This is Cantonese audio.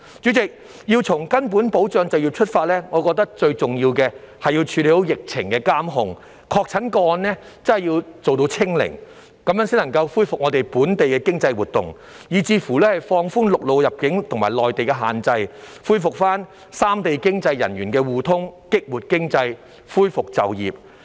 主席，要從根本保障就業出發，我認為最重要的是要處理好疫情監控，確診個案做到"清零"，這樣才能恢復本地的經濟活動，以至放寬陸路入境和內地限制，恢復三地經濟人員互通，激活經濟，恢復就業。